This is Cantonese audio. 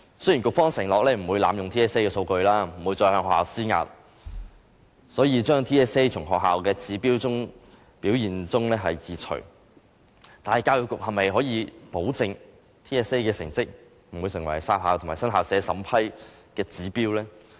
雖然局方承諾不會濫用 TSA 的數據，不會再向學校施壓，所以將 TSA 成績從學校表現指標中移除，但教育局能否保證 TSA 的成績不會成為"殺校"和新校舍審批的指標呢？